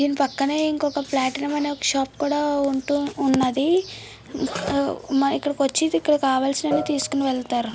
దీని పక్కనే ఇంకొక ప్లాటినం అనే షాప్ ఉన్నది. ఇక్కడకి వచ్చి ఇక్కడ కావాలిసినవన్నీ తీసుకొని వెళుతారు.